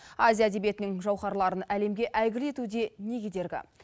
азия әдебиетінің жауһарларын әлемге әйгілі етуде не кедергі